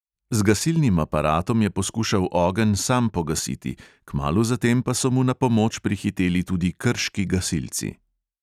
Z gasilnim aparatom je poskušal ogenj sam pogasiti, kmalu zatem pa so mu na pomoč prihiteli tudi krški gasilci.